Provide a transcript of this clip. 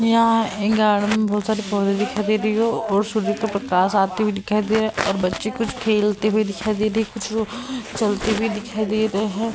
यहाँ एक गार्डन में बहोत सारे पौधे दिखाई दे रही हो और सूर्य का प्रकाश आते हुए दिखाई दे रहा और बच्चे कुछ खेलते हुए दिखाई दे रहे कुछ लोग चलते हुए दिखाई दे रहे है।